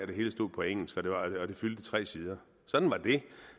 det hele stod på engelsk og det fyldte tre sider sådan var det